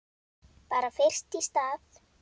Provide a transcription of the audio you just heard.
Bara fyrst í stað.